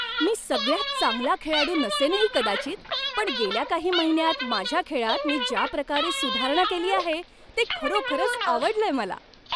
मी सगळ्यात चांगला खेळाडू नसेनही कदाचित, पण गेल्या काही महिन्यांत माझ्या खेळात मी ज्या प्रकारे सुधारणा केली आहे ते खरोखरच आवडलंय मला.